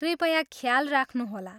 कृपया ख्याल राख्नुहोला।